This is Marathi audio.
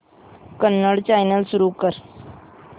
कन्नड चॅनल सुरू कर